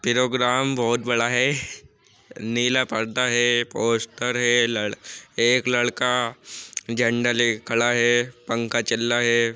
पेरोग्राम बोहोत बड़ा है। नीला पर्दा है पोस्टर है। लड़ एक लड़का झंडा लेके खड़ा है। पंखा चल्ला है।